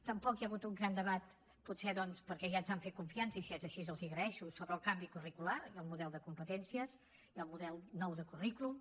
tampoc hi ha hagut un gran debat potser doncs perquè ja ens han fet confiança i si és així els ho agraeixo sobre el canvi curricular i el model de competències i el model nou de currículum